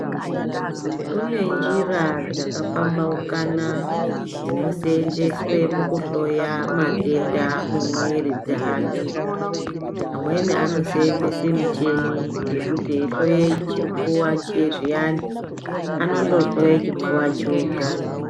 Kune njira dzakapambaukana dzinosenzeswa mukuhloya matenda mumwiri dzeantu pamweni anosenzesa micheni yekuti yeihloya chipfuwa zviyani anongohloya choga.